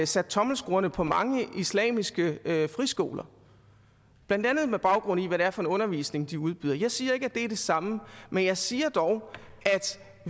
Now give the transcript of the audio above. sat tommelskruerne på mange islamiske friskoler blandt andet med baggrund i hvad det er for en undervisning de udbyder jeg siger ikke at det er det samme men jeg siger dog at